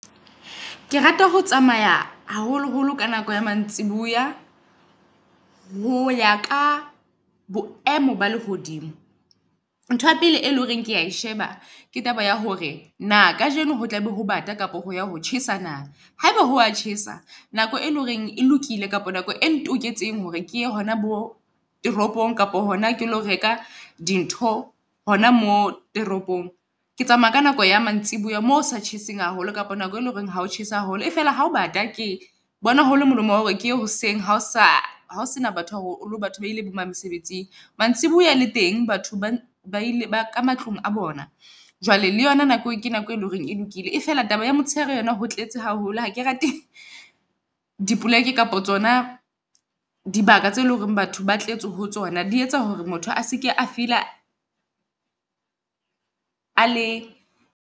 Ke rata ho tsamaya haholoholo ka nako ya mantsibuya ho ya ka boemo ba lehodimo. Ntho ya pele e leng hore kea e sheba ke taba ya hore na kajeno ho tlabe ho bata kapo ho ya ho tjhesa na. Haeba hoa tjhesa nako e leng horeng e lokile kapa nako e hore ke a hona bo toropong kapa hona ke lo reka di ntho hona mo toropong. Ke tsamaya ka nako ya mantsibuya moo hosa tjheseng haholo kapa nako e leng hore ho tjhese haholo. Efela hao bata ke bona ho le molomo oa hore keye hoseng ha o sa hao sena batho haholo hore batho ba ile bo mang mesebetsing. Mantsibuya le teng batho ba ile ka matlung a bona jwale le yona nako e ke nako e leng hore e lokile e fela taba ya motshehare yona ho tletse haholo. Ha ke rate dipoleke kapa tsona dibaka tseo eleng hore batho ba tletse ho tsona di etsa hore motho a seke a feel-a a le .